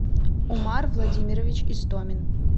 умар владимирович истомин